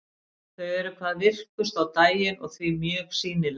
Þau eru hvað virkust á daginn og því mjög sýnileg.